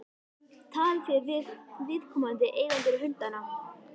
Talið þið við viðkomandi eigendur hundanna?